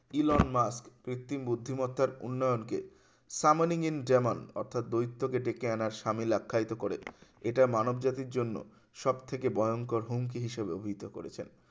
Elon Musk কৃত্রিম বুদ্ধিমত্তার উন্নয়ন কে summon in german অর্থাৎ দ্বৈত কে দেখে আনার সামিল আখ্যায়িত করে এটা মানবজাতির জন্য সবথেকে ভয়ংকর হুমকি হিসাবে অভিহিত করেছেন